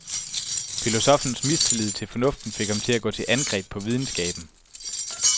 Filosoffens mistillid til fornuften fik ham til at gå til angreb på videnskaben.